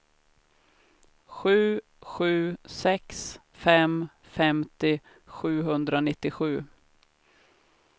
sju sju sex fem femtio sjuhundranittiosju